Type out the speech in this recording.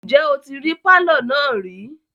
Ǹjẹ́ o tí rí pálọ̀ náà rí?